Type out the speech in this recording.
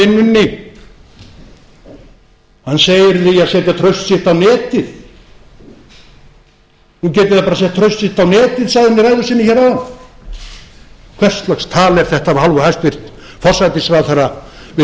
vinnunni hann segir því að setja traust sitt á netið nú geti það bara sett traust sitt á netið sagði hann í ræðu sinni hér áðan hvers lags tal er þetta af hálfu hæstvirts forsætisráðherra við